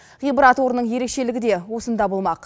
ғибрат орынның ерекшелігі де осында болмақ